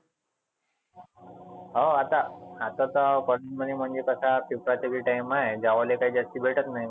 हाव आता आता तर म्हणजे कसा दुपारच जे time आहे जेवायले काय जास्ती भेटत नाही.